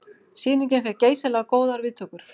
Sýningin fékk geysilega góðar viðtökur